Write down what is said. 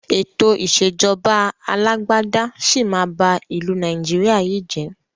Ètò ìsèjọba alàgbàda sì máa bá ìlú Nàìjíríà yìí jé.